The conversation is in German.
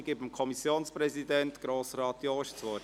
Der Kommissionspräsident, Grossrat Jost, hat das Wort.